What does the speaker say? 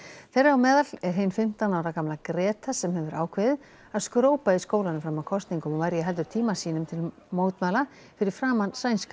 þeirra á meðal er hin fimmtán ára gamla Greta sem hefur ákveðið að skrópa í skólanum fram að kosningum og verja heldur tíma sínum til mótmæla fyrir framan sænska